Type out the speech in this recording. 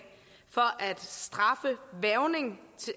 for at straffe hvervning